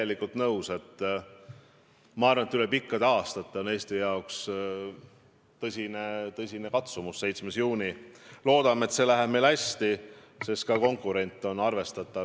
Ma olen nõus, et Eestis on selle eesmärgi nimel Riigikogu tasandil, ametnike tasandil, presidendi tasandil ja valitsusliikmete tasandil tehtud nii palju, kui on olnud võimalik – nii palju, kui on võimalik olnud ka riigi rahakotti arvestades ÜRO Julgeolekunõukogu mittealalise liikme kampaaniat teha.